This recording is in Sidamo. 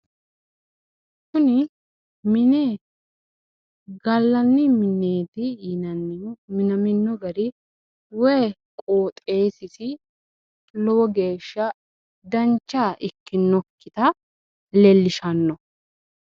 Kuni mine gallanni mineeti yinannihu minamino gari woyi qoxxeesisi lowo geeshsha dancha ikkinokkita leellishano